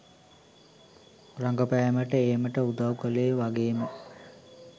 රඟපෑමට ඒමට උදව් කළේ වගේම